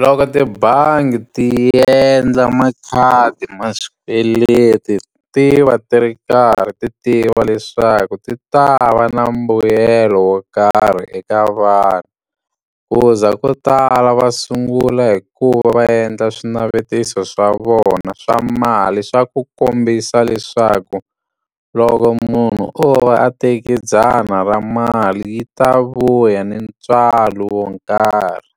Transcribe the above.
Loko tibangi ti endla makhadi ma xikweleti ti va ti ri karhi ti tiva leswaku ti ta va na mbuyelo wo karhi eka vanhu. Ku za ko tala va sungula hi ku va va endla swinavetiso swa vona swa mali swa ku kombisa leswaku, loko munhu o va a teke dzana ra mali yi ta vuya ni ntswalo wo nkarhi.